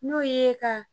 N'o ye ka